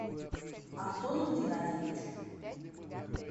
антону геннадьевичу